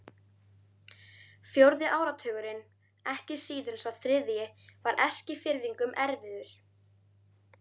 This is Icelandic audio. Fjórði áratugurinn, ekki síður en sá þriðji, var Eskfirðingum erfiður.